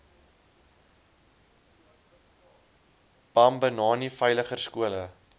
bambanani veiliger skole